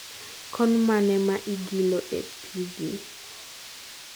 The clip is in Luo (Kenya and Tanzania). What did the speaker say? konmane ma igilo e pigi